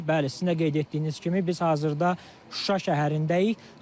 Bəli, sizin də qeyd etdiyiniz kimi, biz hazırda Şuşa şəhərindəyik.